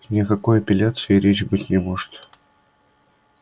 ни о какой апелляции и речи быть не может